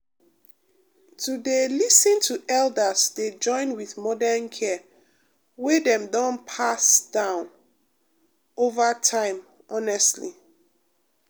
to dey um lis ten to elders dey join with modern care wey dem don pass down over time honestly